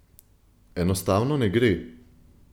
Enostavno ne gre.